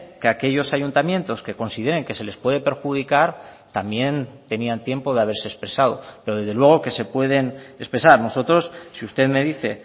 que aquellos ayuntamientos que consideren que se les puede perjudicar también tenían tiempo de haberse expresado pero desde luego que se pueden expresar nosotros si usted me dice